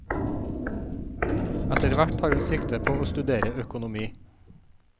Etterhvert tar hun sikte på å studere økonomi.